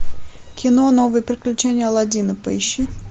кино новые приключения алладина поищи